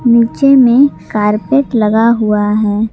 नीचे में कारपेट लगा हुआ है।